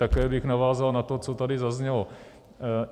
Také bych navázal na to, co tady zaznělo.